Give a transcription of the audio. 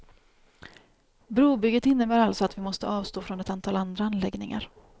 Brobygget innebär alltså att vi måste avstå från ett antal andra anläggningar.